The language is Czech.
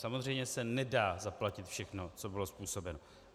Samozřejmě se nedá zaplatit všechno, co bylo způsobeno.